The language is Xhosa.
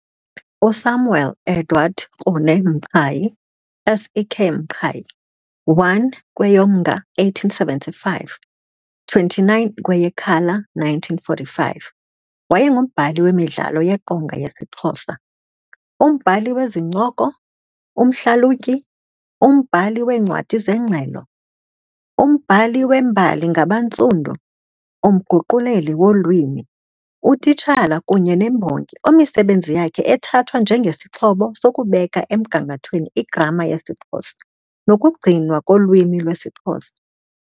USamuel Edward Krune Mqhayi, SEK Mqhayi, 1 kweyoMnga 1875 - 29 kweyeKhala 1945, wayengumbhali wemidlalo yeqonga yesiXhosa, umbhali wezincoko, umhlalutyi, umbhali weencwadi zengxelo, umbhali wembali ngabaNtsundu, umguquleli wolwimi, utitshala kunye nembongi omisebenzi yakhe ethathwa njengesiXhobo sokubeka emgangathweni igrama yesiXhosa nokugcinwa kolwimi lwesiXhosa.